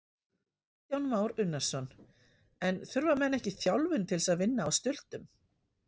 Kristján Már Unnarsson: En þurfa menn ekki þjálfun til þess að vinna á stultum?